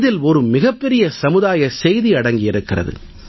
இதில் மிகப் பெரிய சமுதாய செய்தி அடங்கியிருக்கிறது